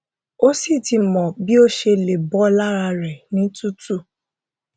ó sì ti mọ bí ó ṣe lè bọ lára rẹ ní tútù